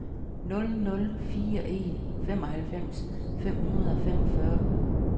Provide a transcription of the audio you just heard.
nul nul fire en femoghalvfems fem hundrede og femogfyrre